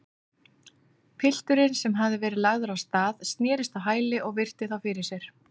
Pilturinn, sem hafði verið lagður af stað, snerist á hæli og virti þá fyrir sér.